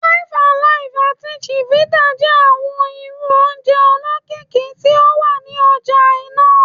Five Alive ati Chivita jẹ awọn irú oje olokiki ti o wa ni ọja naa